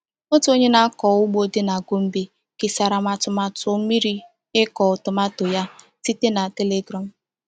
Otu onye na-akọ ugbo dị na Gombe kesara m atụmatụ mmiri ịkụ tomato ya site na [c] Telegram [c].